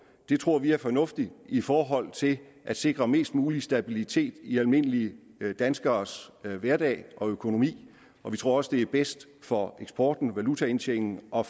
det tror vi er fornuftigt i forhold til at sikre mest mulig stabilitet i almindelige danskeres hverdag og økonomi og vi tror også det er bedst for eksporten valutaindtjeningen og